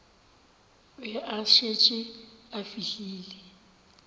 be a šetše a fihlile